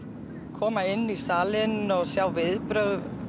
koma inn í salinn og sjá viðbrögð